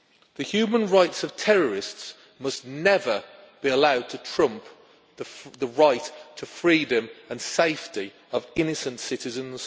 The human rights of terrorists must never be allowed to trump the right to freedom and safety of innocent citizens.